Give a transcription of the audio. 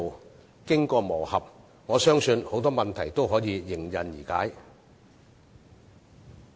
我相信在經過磨合後，很多問題均可迎刃而解。